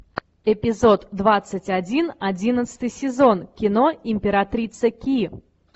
эпизод двадцать один одиннадцатый сезон кино императрица ки